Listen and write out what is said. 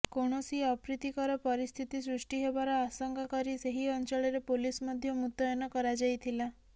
କୌଣସି ଅପ୍ରୀତିକର ପରିସ୍ଥିତି ସୃଷ୍ଟି ହେବାର ଆଶଙ୍କା କରି ସେହି ଅଞ୍ଚଳରେ ପୋଲିସ୍ ମଧ୍ୟ ମୁତୟନ କରାଯାଇଥିଲା